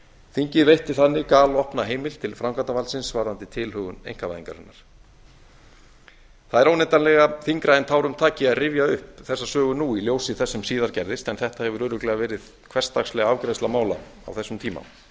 þingið veitti þannig galopna heimild til framkvæmdarvaldsins varðandi tilhögun einkavæðingarinnar það er óneitanlega þyngra en tárum taki að rifja upp þessa sögu nú í ljósi þess sem síðar gerist en þetta hefur örugglega verið hversdagsleg afgreiðsla mála á þessum tíma